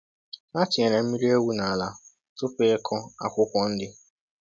Ha tinyere mmiri ewu n’ala tupu ịkụ akwụkwọ nri.